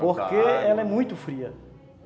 Porque ela é muito fria.